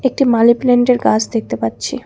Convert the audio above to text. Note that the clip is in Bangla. একটি মানিপ্লান্টের গাছ দেখতে পাচ্ছি।